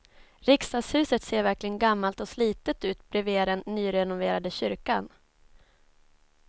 Riksdagshuset ser verkligen gammalt och slitet ut bredvid den nyrenoverade kyrkan.